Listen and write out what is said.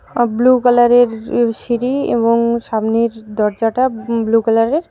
সব blue colour সিঁড়ি এবং সামনের দরজাটা ব্লু কালার -এর।